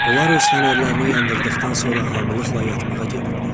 Onlar öz fənərlərini yandırdıqdan sonra hamılıqla yatmağa gedirdi.